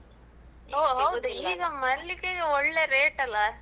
ಈಗ ಮಲ್ಲಿಗೆಗೆ ಒಳ್ಳೆ rate ಅಲ್ಲ?